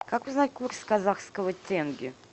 как узнать курс казахского тенге